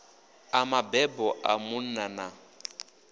a mabebo a munna na